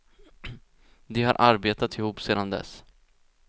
De har arbetat ihop sedan dess.